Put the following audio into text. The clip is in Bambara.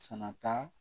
Sanata